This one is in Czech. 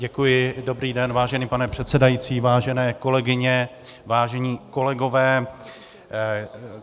Děkuji, dobrý den, vážený pane předsedající, vážené kolegyně, vážené kolegové.